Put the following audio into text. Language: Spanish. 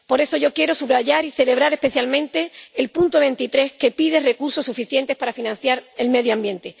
Por eso yo quiero subrayar y celebrar especialmente el punto 23, que pide recursos suficientes para financiar el medio ambiente.